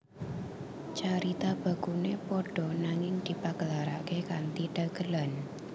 Carita bakune padha nanging dipagelarake kanthi dagelan